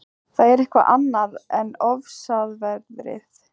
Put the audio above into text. Það er eitthvað annað en ofsaveðrið á